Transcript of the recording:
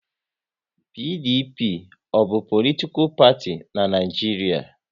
PDP ọ bụ politikal parti n'Naijiria?